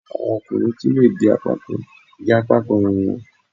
Àwọn ọkùnrin tún lè di apákan gẹ apákan irun wọ́n